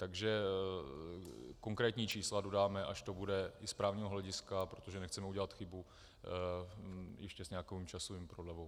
Takže konkrétní čísla dodáme, až to bude i z právního hlediska, protože nechceme udělat chybu ještě s nějakou časovou prodlevou.